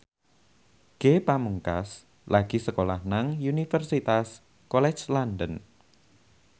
Ge Pamungkas lagi sekolah nang Universitas College London